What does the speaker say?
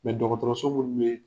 munun ye